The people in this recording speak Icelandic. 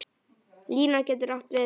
Lína getur átt við